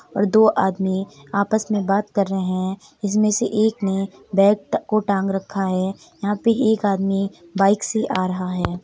और दो आदमी आपस में बात कर रहे हैं इसमें से एक ने बैग को टांग रखा है। यहां पर एक आदमी बाइक से आ रहा हैं।